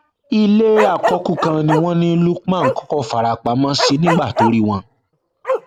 ilé àkọkù kan ni wọn ní lukman kọkọ fara pamọ sí nígbà tó rí wọn